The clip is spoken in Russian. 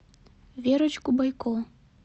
верочку бойко